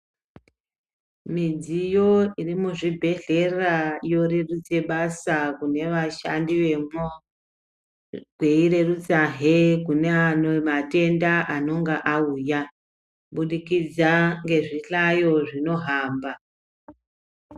Midziyo iri muzvibhedhlera yorerutse basa kune vashandi vemo kweirerutsahe kune matenda anonga auya kubudikidza ngezvihlayo zvinohamba.